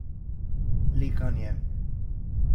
Likanje.